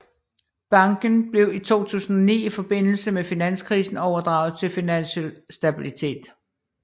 Banken blev i 2009 i forbindelse med finanskrisen overdraget til Finansiel Stabilitet